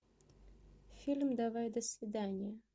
фильм давай до свидания